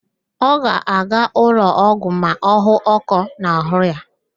Ọ ga-aga ụlọọgwụ ma ọ hụ ọ́kọ́ n'àhụ́ ya